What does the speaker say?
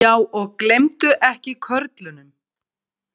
Já, og gleymdu ekki körlunum.